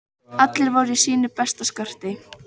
Allir voru í sínu besta skarti.